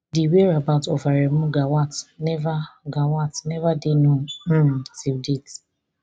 di whereabout of aremu gawat never gawat never dey known um till date